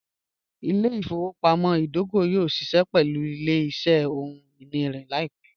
Ìlẹ̀-ifowopamọ̀ idògò yóò ṣíṣẹ pẹ̀lú ìlẹ̀-iṣẹ̀ ọhun-iní laipẹ̀